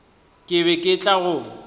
ke be ke tla go